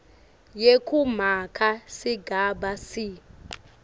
yekumaka sigaba c